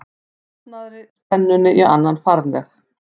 safnaðri spennunni í annan farveg.